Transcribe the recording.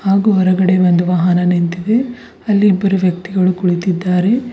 ಹಾಗು ಹೊರಗಡೆ ಒಂದು ವಾಹನ ನಿಂತಿದೆ ಅಲ್ಲಿ ಇಬ್ಬರು ವ್ಯಕ್ತಿಗಳು ಕುಳಿತಿದ್ದಾರೆ.